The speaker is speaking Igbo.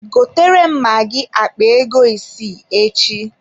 Gotere m magi akpa ego isi echi.